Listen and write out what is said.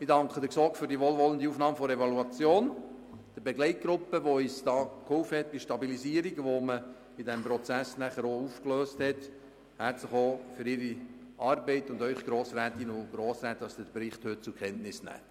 Herzlich danke ich der GSoK für die wohlwollende Aufnahme der Evaluation, der Begleitgruppe für ihre Hilfe bei der Stabilisierung des Prozesses und Ihnen, Grossrätinnen und Grossräte, dass Sie den Bericht heute zur Kenntnis nehmen.